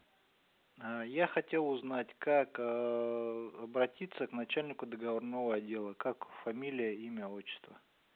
ээ я хотел узнать как аа обратиться к начальнику договорного отдела как фамилия имя отчество